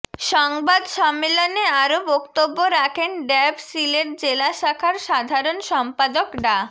সংবাদ সম্মেলনে আরও বক্তব্য রাখেন ড্যাব সিলেট জেলা শাখার সাধারণ সম্পাদক ডা